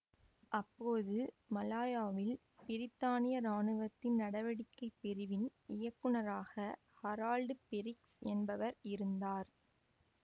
அப்போது மலாயாவில் பிரித்தானிய இராணுவத்தின் நடவடிக்கைப் பிரிவின் இயக்குநராக ஹரால்டு பிரிக்ஸ் என்பவர் இருந்தார்